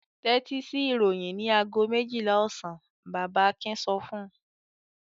"Tẹ́tí sí ìròyìn ní ago méjìlá ọ̀sán!" Bàbá Akin sọ fún un.